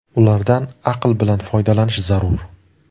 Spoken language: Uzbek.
Ulardan aql bilan foydalanish zarur.